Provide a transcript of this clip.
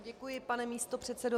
Děkuji, pane místopředsedo.